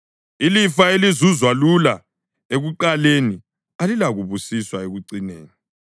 Ilifa elizuzwa lula ekuqaleni alilakubusiswa ekucineni.